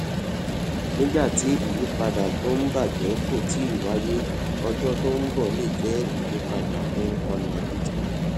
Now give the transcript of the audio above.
nígbà tí ìyípadà tó ń bàjẹ kò tíì wáyé ọjọ tó ń bọ lè jẹ ìyípadà fún ọnà bitcoin